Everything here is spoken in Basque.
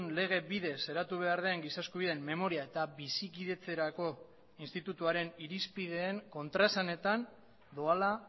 lege bidez eratu behar den giza eskubideen memoria eta bizikidetzerako institutuaren irizpideen kontraesanetan doala